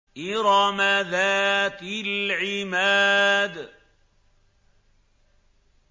إِرَمَ ذَاتِ الْعِمَادِ